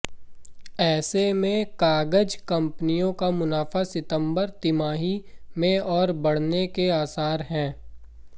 ऐसे में कागज कंपनियों का मुनाफा सितंबर तिमाही में और बढऩे के आसार हैं